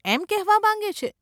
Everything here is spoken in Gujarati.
એમ કહેવા માંગે છે?